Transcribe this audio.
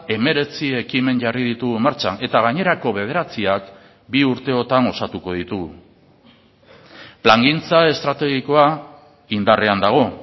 hemeretzi ekimen jarri ditugu martxan eta gainerako bederatziak bi urteotan osatuko ditugu plangintza estrategikoa indarrean dago